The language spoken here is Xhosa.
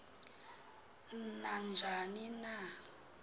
na njani na